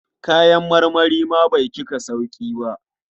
Kayan marmari ma bai cika sauƙi ba.